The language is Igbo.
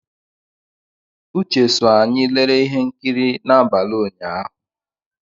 Uche so anyị lere ihe nkiri n'abalị ụnyahụ.